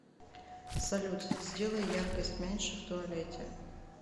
салют сделай яркость меньше в туалете